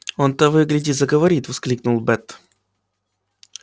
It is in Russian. он того и гляди заговорит воскликнул бэт